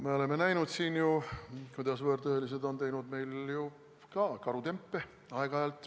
Me oleme näinud, kuidas võõrtöölised on teinud meil ju aeg-ajalt ka karutempe.